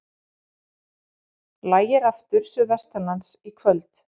Lægir aftur suðvestanlands í kvöld